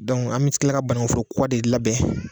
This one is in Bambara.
an bɛ kila ka bananku foro kura de labɛn.